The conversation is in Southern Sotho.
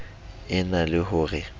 e na le ho re